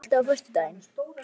India, er bolti á föstudaginn?